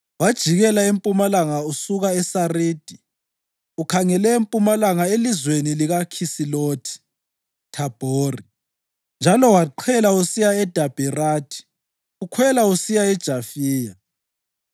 Wajikela empumalanga usuka eSaridi ukhangele empumalanga elizweni likaKhisilothi-Thabhori njalo waqhela usiya eDabherathi ukhwela usiya eJafiya.